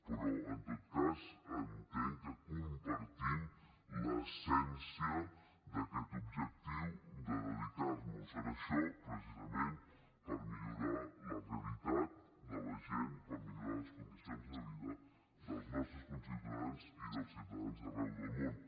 però en tot cas entenc que compartim l’essència d’aquest objectiu de dedicar nos a això precisament per millorar la realitat de la gent per millorar les condicions de vida dels nostres conciutadans i dels ciutadans d’arreu del món